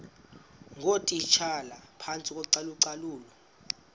ngootitshala phantsi kocalucalulo